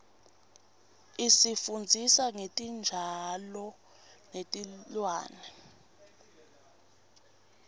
isifundzisa ngetitjalo netilwane